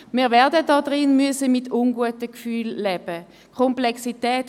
Wir werden im Grossen Rat mit den unguten Gefühlen leben müssen.